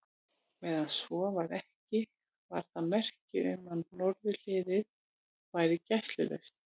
Meðan svo var ekki, var það merki um, að norðurhliðið væri gæslulaust.